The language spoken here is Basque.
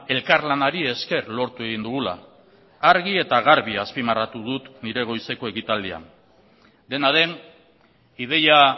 elkarlanari esker lortu egin dugula argi eta garbi azpimarratu dut nire goizeko ekitaldian dena den ideia